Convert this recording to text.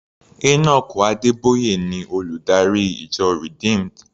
Enoch Adeboye ni olùdarí ìjọ Redeemed.